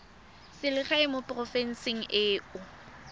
selegae mo porofenseng e o